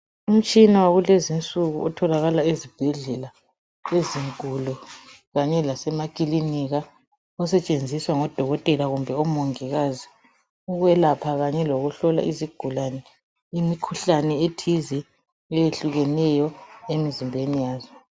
Umtshina wakulezi insuku otholakala esibhedlela ezinkulu kanye lasemakilika osetshenziswa ngodokotela kumbe omongikazi ukwelapha kanye lokuhlola izigulane imikhuhlane ethize eyehlukeneyo emzimbeni yazo.